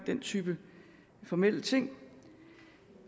den type formelle ting det